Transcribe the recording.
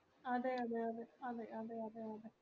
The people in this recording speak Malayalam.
അതെ അതെ അതെ അതെ അതെ അതെ അതെ